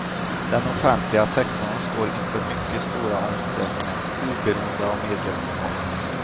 Den offentliga sektorn står inför mycket stora omställningar oberoende av medlemskap.